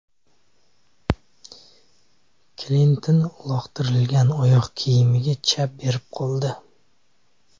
Klinton uloqtirilgan oyoq kiyimiga chap berib qoldi.